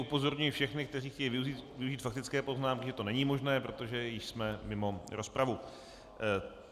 Upozorňuji všechny, kteří chtějí využít faktické poznámky, že to není možné, protože již jsme mimo rozpravu.